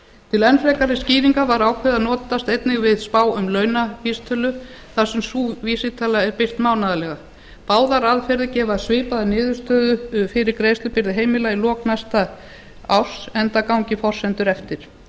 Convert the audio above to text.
til enn frekari skýringar var ákveðið að notast einnig við spá um launavísitölu þar sem sú vísitala er birt mánaðarlega báðar aðferðir gefa svipaða niðurstöðu fyrir greiðslubyrði heimila í lok næsta árs enda gangi forsendur eftir